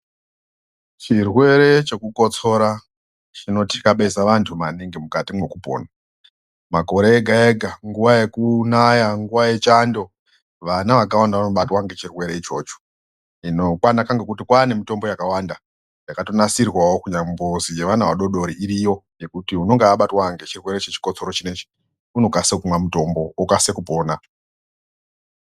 Chirwere chekukotsora chino tikabezi antu maningi mukati mwekupona. Makore ega ega nguwa yekunaya nguwa yechando vana vakawanda vanobatwa ngechirwere ichocho. Hino kwanemitombo yakawanda yakanasirwawo kunyamboti yeana adodori iriyo ngekuti unenga abatwa ngechirwere chechikotsoro chinechi unokase kumwa mutombo okase kupona.